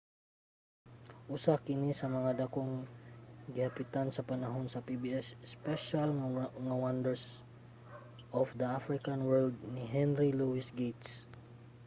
usa kini sa mga dakong gihapitan sa panahon sa pbs special nga wonders of the african world ni henry louis gates